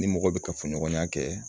Ni mɔgɔ bɛ kafoɲɔgɔnya kɛ